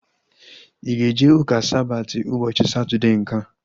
Ị ga-eje ụka Sabati ụbọchị Satọdee nkea?